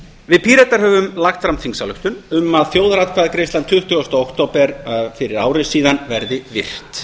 við píratar höfum lagt fram þingsályktun um að þjóðaratkvæðagreiðslan tuttugasta október fyrir ári síðan verði virt